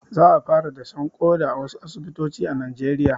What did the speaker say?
Za a fara dashen ƙoda a wasu asibitoci a najeriya